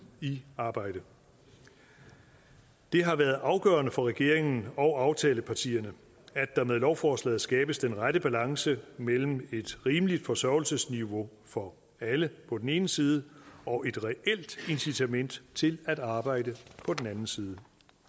i arbejde det har været afgørende for regeringen og aftalepartierne at der med lovforslaget skabes den rette balance mellem et rimeligt forsørgelsesniveau for alle på den ene side og et reelt incitament til at arbejde på den anden side